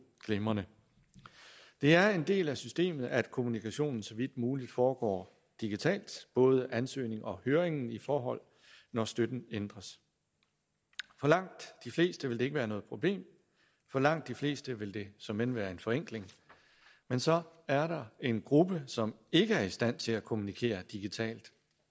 glimrende det er en del af systemet at kommunikationen så vidt muligt foregår digitalt både ansøgningen og høringen i forhold når støtten ændres for langt de fleste vil det ikke være noget problem for langt de fleste vil det såmænd være en forenkling men så er der en gruppe som ikke er i stand til at kommunikere digitalt